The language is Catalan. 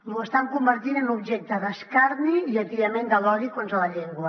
ho estan convertint en objecte d’escarni i atiament de l’odi contra la llengua